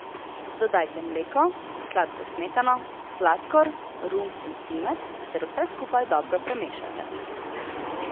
Dodajte mleko, sladko smetano, sladkor, rum in cimet, ter vse skupaj dobro premešajte.